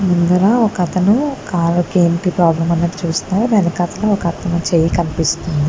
ముందర ఒక అతను కాళ్ళకి ఏంటి ప్రాబ్లెమ్ అన్నట్టు చూస్తున్నాడు వెనకాతల ఒక అతని చెయ్యి కనిపిస్తుంది.